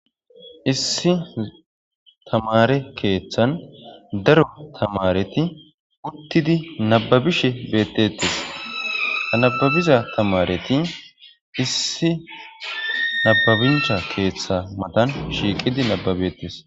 Issi tamare kethan daro tamareti utidi nababishe detese ha nababiza tamareti Issi nabancha kethan matan shiiqidi nababetese